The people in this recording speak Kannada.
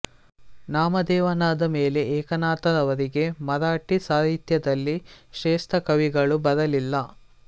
ನಾಮದೇವನಾದ ಮೇಲೆ ಏಕನಾಥನವರೆಗೆ ಮರಾಠಿ ಸಾಹಿತ್ಯದಲ್ಲಿ ಶ್ರೇಷ್ಠ ಕವಿಗಳು ಬರಲಿಲ್ಲ